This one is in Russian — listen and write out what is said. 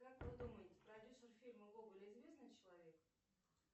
как вы думаете продюсер фильма гоголь известный человек